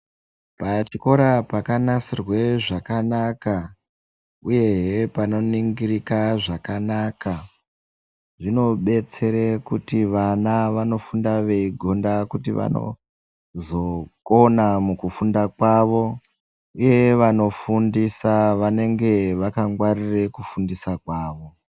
Pachikora pakanasirwe zvakanaka, uyehe panoningirika zvakanaka. Zvinobetsere kuti vana vanofunda veigonda kuti vanozokona mukufunda kwavo, uye vanofundisa vanenge vakangwaririre kufundisa kwavo.